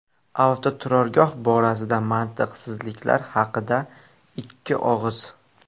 Avtoturargoh borasidagi mantiqsizliklar haqida ikki og‘iz.